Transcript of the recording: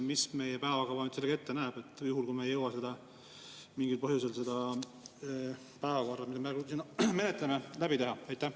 Mis meie päevakava ette näeb juhul, kui me ei jõua mingil põhjusel seda päevakorda, mida me praegu menetleme, läbida?